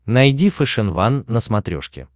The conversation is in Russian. найди фэшен ван на смотрешке